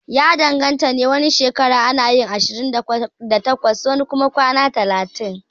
Ya danganta ne, wani shekara anayin ashirin da takwas wani kuma kwana talatin